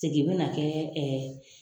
Segin bɛna kɛ